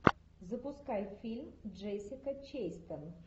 запускай фильм джессика честейн